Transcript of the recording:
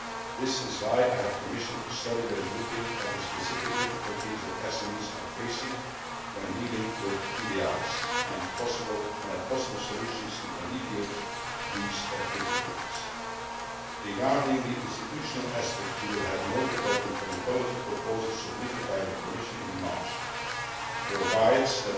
This is why I have commissioned a study to look at the specific difficulties that SMEs face when dealing with TDIs, and at possible solutions to alleviate these difficulties. Regarding the institutional aspects, you will have noted that the comitology proposal submitted by the Commission in March provides for